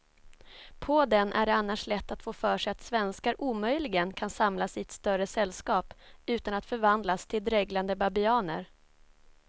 På den är det annars lätt att få för sig att svenskar omöjligen kan samlas i större sällskap utan att förvandlas till dreglande babianer.